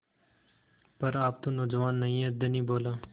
पर आप तो नौजवान नहीं हैं धनी बोला